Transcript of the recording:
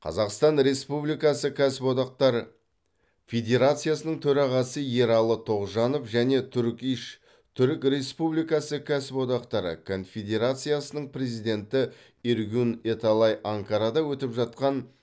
қазақстан республикасы кәсіп одақтар федерациясының төрағасы ералы тоғжанов және турк иш түрік республикасы кәсіподақтары конфедерациясының президенті эргюн эталай анкарада өтіп жатқан